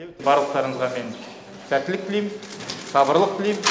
барлықтарыңызға мен сәттілік тілеймін сабырлық тілеймін